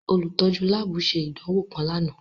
Olutọju lab ṣe idanwo kan làná.